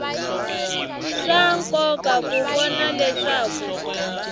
swa nkoka ku vona leswaku